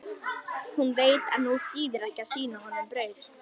Hún veit að nú þýðir ekki að sýna honum brauð.